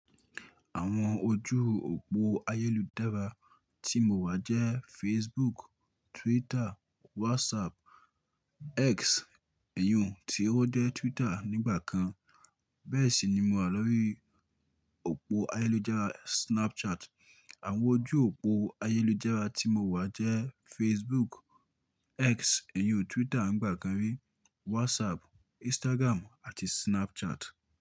Àwọn ojú òpó ayélujára tí mo wà jẹ́ Facebook, Twitter, WhatsApp, X èyi oun tí ó jẹ́ Twitter nígbà kan. Bẹ́ẹ̀ sì ni mo wà lórí òpó ayélujára Snapchat. Àwọn ojú òpó ayélujára tí mo wà jẹ́ Facebook, X èyàn Twitter nígbà kan rí, WhatsApp, Instagram àti Snapchat.